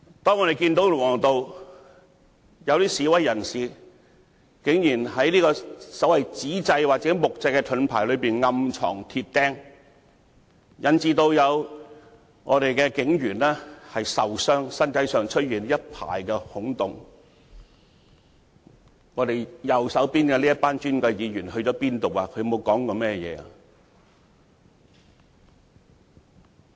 當我們看到龍和道有示威人士，竟然在紙製或木製盾牌暗藏鐵釘，引致有警員受傷，身上出現一排孔洞，當時坐在我們右手邊的這群尊貴議員往哪裏去了？